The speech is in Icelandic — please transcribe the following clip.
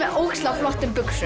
ógeðslega flottum buxum